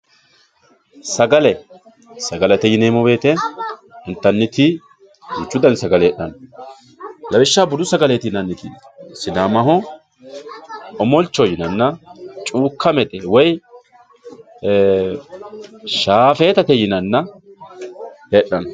Sagale sagalete yinemo woyite initaniti duchu dani sagale hedhano lawishaho budu sagaleti yinaniti sidamaho omolichoho yinanna cukamette woyi ee shafetatte yinanna hedhano